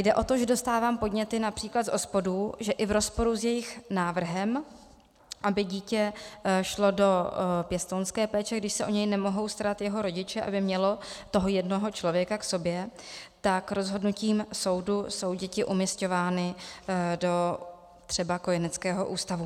Jde o to, že dostávám podněty například z OSPODů, že i v rozporu s jejich návrhem, aby dítě šlo do pěstounské péče, když se o něj nemohou starat jeho rodiče, aby mělo toho jednoho člověka k sobě, tak rozhodnutím soudu jsou děti umísťovány do třeba kojeneckého ústavu.